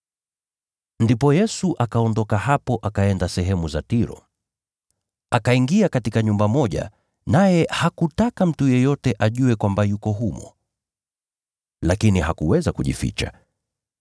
Ndipo Yesu akaondoka hapo akaenda sehemu za Tiro. Akaingia katika nyumba moja, naye hakutaka mtu yeyote ajue kwamba yuko humo. Lakini hakuweza kujificha.